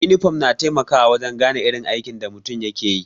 inifom na taimakawa wajen gane irin aikin da mutum yake yi.